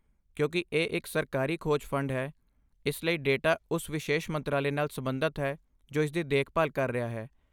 ਕਿਉਂਕਿ ਇਹ ਇੱਕ ਸਰਕਾਰੀ ਖੋਜ ਫੰਡ ਹੈ, ਇਸ ਲਈ ਡੇਟਾ ਉਸ ਵਿਸ਼ੇਸ਼ ਮੰਤਰਾਲੇ ਨਾਲ ਸਬੰਧਤ ਹੈ ਜੋ ਇਸਦੀ ਦੇਖਭਾਲ ਕਰ ਰਿਹਾ ਹੈ।